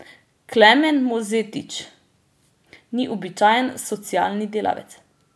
Klemen Mozetič ni običajen socialni delavec.